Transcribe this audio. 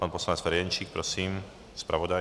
Pan poslanec Ferjenčík, prosím, zpravodaj.